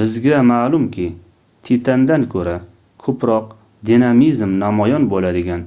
bizga maʼlumki titandan koʻra koʻproq dinamizm namoyon boʻladigan